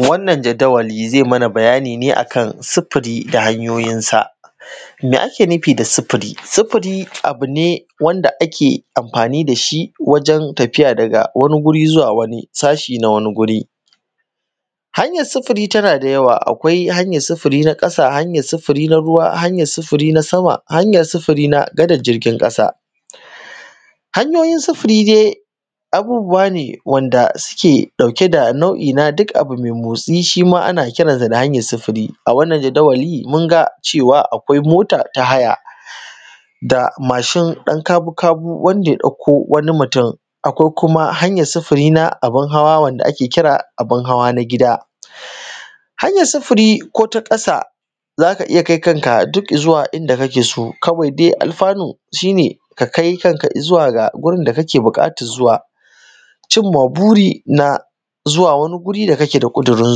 Wannan jadiwali, zai mana bayani ne a kan sifiri da hanyoyinsa Me ake nufi da sifiri? Sifiri abu ne wanda ake amfani da shi wajen tafiya daga wani guri zuwa wani sashi na wani guri Hanyar sifiri tana da yawa, akwai hanyar sifiri na ƙasa, hanyar sifiri na ruwa, hanyar sifiri na sama, hanyar sifiri na gadar jirgin ƙasa. Hanyoyin sifiri de, abubuwa ne wanda suke ɗauke da nau’i na duk abu me motsi shi ma ana kiran sa da hanyar sifiri. A wannan jadawali, mun ga cewa akwai mota ta haya, da mashin ɗankabukabu wanda ya ɗakko wani mutum. Akwai kuma hanyar sifiri na abun hawa wanda ake kira abin hawa na gida Hanyar sifiri ko ta ƙasa za ka iya kai kanka duk i zuwa inda kake so, kawai de alfanu, shi ne ka kai kanka i zuwa ga gurin da kake buƙatar zuwa cimma buri na zuwa wani guri da kake da ƙudirin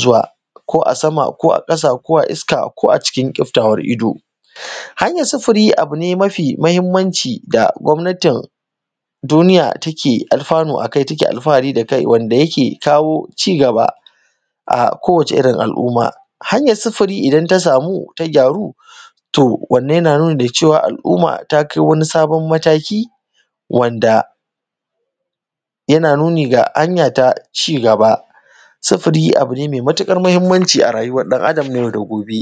zuwa ko a sama ko a ƙasa ko a iska ko cikin ƙiftawar ido. Hanyar sifiri, abu ne me mahimmanci da gwamnatin duniya take alfanu a kai, take alfahari da kai wanda yake kawo cigaba a kowace irin al’umma a hanyar sifiri idan ta samu ta gyaru, to wannan yana nuni da cewa, al’umma ta kai wani sabon mataki wanda yana nuni ga hanya ta cigaba Sifiri abu ne me matuƙar mahimmanci a rayuwar ɗan Adam na yau da gobe.